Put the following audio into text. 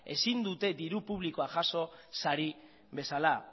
ezin dute diru publikoa jaso sari bezala